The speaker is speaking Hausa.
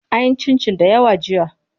An yi cincin dayawa jiya.